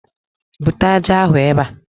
Bute ájá ahụ ebe a